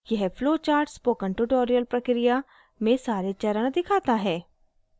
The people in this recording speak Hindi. यह flowchart spoken tutorial प्रक्रिया में सारे चरण दिखाता है